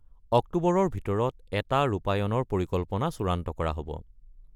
অক্টোবৰৰ ভিতৰত এটা ৰূপায়ণৰ পৰিকল্পনা চূড়ান্ত কৰা হ’ব।